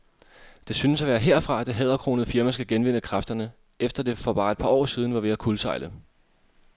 Det synes også at være herfra, det hæderkronede firma skal genvinde kræfterne, efter at det for bare et par år siden var ved at kuldsejle.